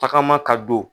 Tagama ka don